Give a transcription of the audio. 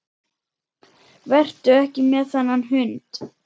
Vertu ekki með þennan hund.